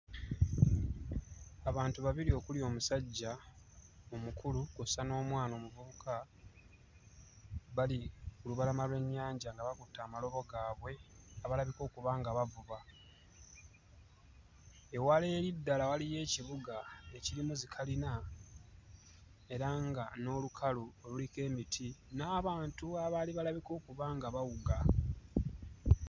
Abantu babiri okuli omusajja omukulu kw'ossa n'omwana omuvubuka bali ku lubalama lw'ennyanja nga bakutte amalobo gaabwe, abalabika okuba nga bavuba. Ewala eri ddala waliyo ekibuga ekirimu zikalina era nga n'olukalu luliko emiti n'abantu abaali balabika okuba nga bawuga.